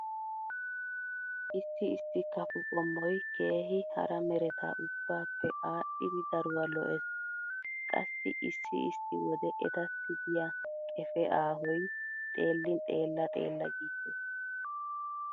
Issi issi kafo qommoy keehi hara mereta ubbaappe aadhdhidi daruwa lo'ees. Qassi issi issi wode etassi diya qefee aahoy xeellin xeella xeella giissees.